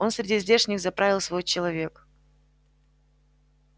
он среди здешних заправил свой человек